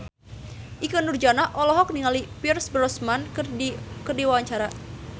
Ikke Nurjanah olohok ningali Pierce Brosnan keur diwawancara